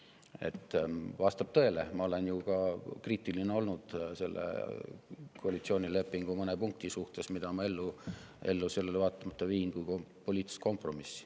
Aga vastab ju tõele, et ma olen olnud kriitiline ka selle koalitsioonilepingu mõne punkti suhtes, mida ma sellele vaatamata viin ellu kui poliitilist kompromissi.